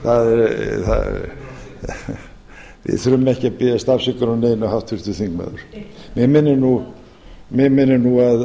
að biðjast afsökunar á neinu háttvirtur þingmaður mig minnir nú